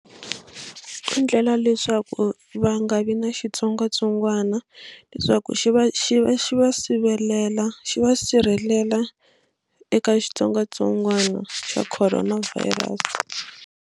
Endlela leswaku va nga vi na xitsongwatsongwana leswaku xi va xi va xi va sivelela xi va sirhelela eka xitsongwatsongwana xa corona virus.